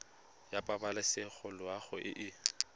ya pabalesego loago e e